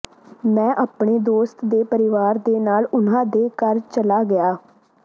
ਮੈਂ ਆਪਣੇ ਦੋਸਤ ਦੇ ਪਰਿਵਾਰ ਦੇ ਨਾਲ ਉਨ੍ਹਾਂ ਦੇ ਘਰ ਚਲਾ ਗਿਆ